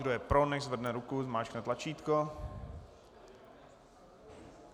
Kdo je pro, nechť zvedne ruku, zmáčkne tlačítko.